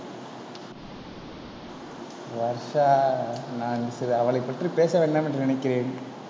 வர்ஷா நான் அவளைப் பற்றி பேச வேண்டாம் என்று நினைக்கிறேன்.